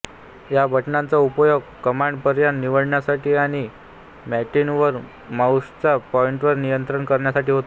या बटणांचा उपयोग कमांड पर्याय निवडण्यासाठी आणि मॉनिटरवर माऊसचा पॉंइंटर नियंत्रित करण्यासाठी होतो